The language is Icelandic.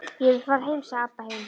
Ég vil fara heim, sagði Abba hin.